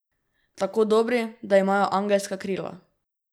Tako dobri, da imajo angelska krila.